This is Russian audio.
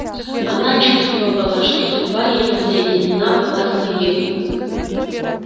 она чувствовала что судьба её соединена была с моею